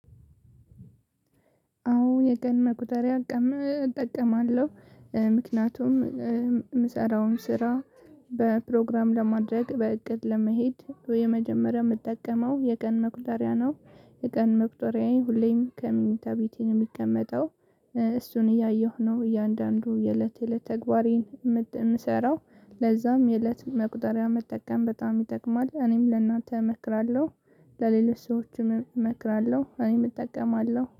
አዎ የቀን መቁጠሪያ እጠቀማለሁ ምክንያቱም የምሰራውን ስራ በፕሮግራም ለማድረግ በእቅድ ለመሄድ ወይ የመጀመሪያ የምትጠቀመው የቀን መቁጠሪያ ነው። የቀን መቁጠሪያዬ ሁሌም ከመኝታ ቤቴ የሚቀመጠው። እሱን እያየሁ ነው እያንዳንዱ የእለት የእለት ተግባሬን የምት የምሰራው ለዛም የእለት መቁጠሪያ መጠቀም በጣም ይጠቅማል እኔም ለእናንተ እመክራለሁ። ለሌሎች ሰዎችም እመክራለሁ እኔም እጠቀማለሁ